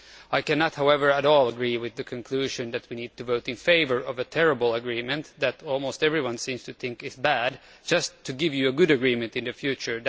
I cannot, however, at all agree with the conclusion that we need to vote in favour of a terrible agreement that almost everyone seems to think is bad, just to give you a good agreement in the future.